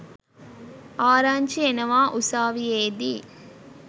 ආරංචි එනවා උසාවියේදී